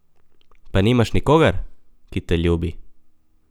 Pa nimaš nikogar, ki te ljubi?